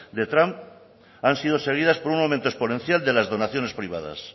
de trump han sido seguidas por un aumento exponencial de las donaciones privadas